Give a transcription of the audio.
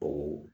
O